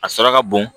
A sɔrɔ ka bon